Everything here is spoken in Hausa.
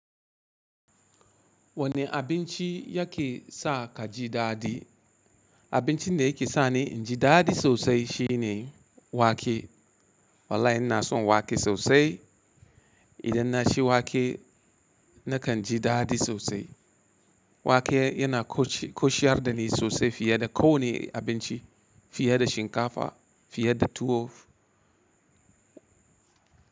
Wane abinci ya ke sa ka ji daɗi? Abincin da ya ke sani inji daɗi sosai shine wake. Wallahi ina son wake sosai. Idan na ci wake nakan ji daɗi sosai. Wake yana koci-koshiyar da ni sosai fiye da kowane abinci, fiye da shinkafa, fiye da tuwo.